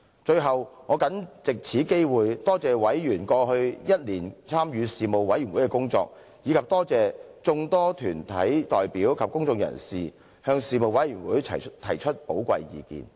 最後，我謹藉此機會多謝委員過去一年參與事務委員會的工作，以及多謝眾多團體代表及公眾人士向事務委員會提出寶貴意見。